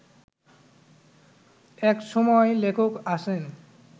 এক সময় লেখক আসেন